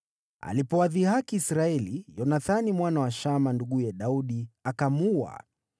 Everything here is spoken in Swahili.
Alipowadhihaki Israeli, Yonathani mwana wa Shimea, nduguye Daudi, akamuua.